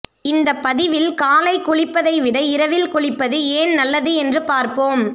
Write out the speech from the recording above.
இந்த பதிவில் காலை குளிப்பதை விட இரவில் குளிப்பது ஏன் நல்லது என்று பார்ப்போம்